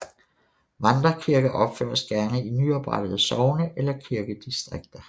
Vandrekirker opføres gerne i nyoprettede sogne eller kirkedistrikter